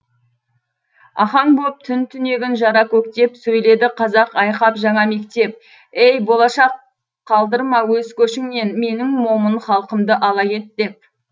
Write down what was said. ахаң боп түн түнегін жара көктеп сөйледі қазақ айқап жаңа мектеп ей болашақ қалдырма өз көшіңнен менің момын халқымды ала кет деп